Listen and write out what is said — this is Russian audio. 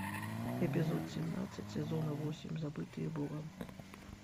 эпизод семнадцать сезона восемь забытые богом